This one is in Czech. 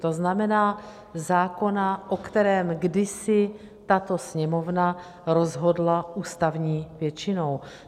To znamená zákona, o kterém kdysi tato Sněmovna rozhodla ústavní většinou.